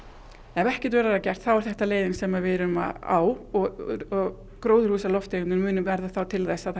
ef ekkert verður að gert er þetta leiðin sem við erum á og gróðurhúsalofttegundir verða til þess að